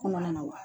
Kɔnɔna na wa